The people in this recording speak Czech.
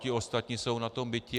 Ti ostatní jsou na tom biti.